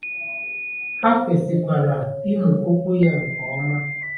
Ha kwesịkwara ịmụ Okwu ya nke ọma.